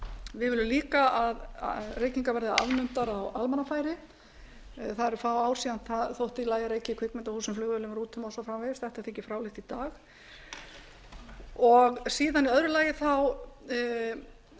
við viljum líka að reykingar verði afnumdar á almannafæri það eru fá ár síðan það þótti í lagi að reykja í kvikmyndahúsum flugvélum rútum og svo framvegis þetta þykir fráleitt í dag síðan í öðru lagi